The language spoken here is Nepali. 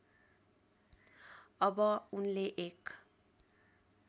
अब उनले एक